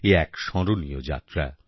এ এক স্মরণীয় যাত্রা